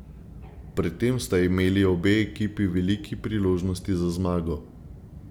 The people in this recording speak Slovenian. Pred tem sta imeli obe ekipi veliki priložnosti za zmago.